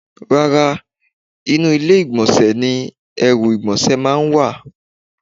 Rárá, inú ilé ìgbọ̀nsẹ̀ ni èérún ìgbọ̀nsẹ̀ máa ń wà.